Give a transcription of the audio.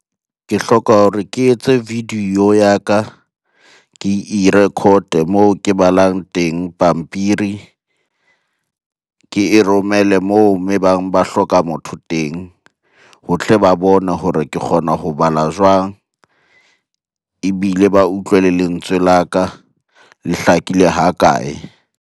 Ke hloka hore ke etse video ya ka, ke e record moo ke balang teng pampiri. Ke e romele moo e bang ba hloka motho teng ho tle ba bone hore ke kgona ho bala jwang? Ebile ba utlwe le lentswe la ka le hlakile hakae?